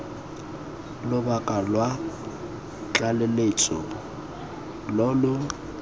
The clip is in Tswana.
lobaka lwa tlaleletso lo lo